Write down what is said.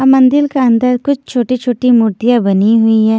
अब मंदील क अंदर कुछछोटी-छोटी मूर्तियां बनी हुई है।